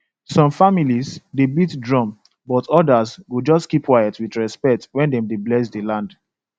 some families dey beat drum but others go just keep quiet with respect when dem dey bless the land